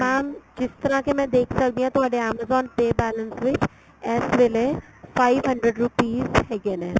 mam ਜਿਸ ਤਰ੍ਹਾਂ ਕੀ ਮੈਂ ਦੇਖ ਸਕਦੀ ਆ ਤੁਹਾਡੇ amazon pay balance ਵਿੱਚ ਇਸ ਵੇਲੇ five hundred rupees ਹੈਗੇ ਨੇ